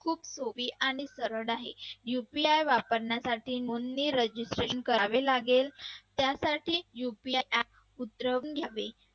खूप सोपी आणि सरळ आहे UPI वापरण्यासाठी नोंदणी Registration करावे लागेल त्यासाठी UPI app सुचवून घ्यावे.